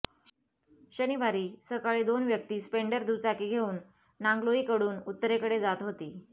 शनिवारी सकाळी दोन व्यक्ती स्पेंडर दुचाकी घेऊन नांगलोईकडून उत्तरेकडे जात होती